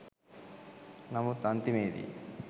නමුත් අන්තිමේ දී